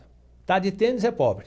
Está de tênis é pobre.